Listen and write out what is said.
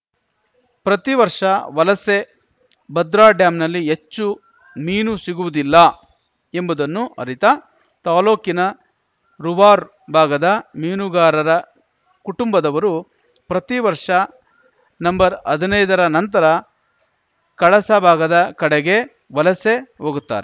ಪ್ರತಿ ವರ್ಷ ವಲಸೆ ಭದ್ರಾ ಡ್ಯಾಂನಲ್ಲಿ ಹೆಚ್ಚು ಮೀನು ಸಿಗುವುದಿಲ್ಲ ಎಂಬುದನ್ನು ಅರಿತ ತಾಲೂಕಿನ ರುವಾರ್ ಭಾಗದ ಮೀನುಗಾರರ ಕುಟುಂಭದವರು ಪ್ರತಿವರ್ಷ ನಂಬರ್ ಹದ್ನೈದ ರ ನಂತರ ಕಳಸ ಭಾಗದ ಕಡೆಗೆ ವಲಸೆ ಹೋಗುತ್ತಾರೆ